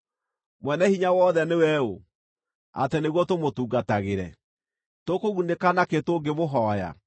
Mwene-Hinya-Wothe nĩwe ũ, atĩ nĩguo tũmũtungatagĩre? Tũkũgunĩka nakĩ tũngĩmũhooya?’